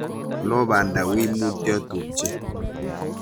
Lo banda, wiy mutyo tupche.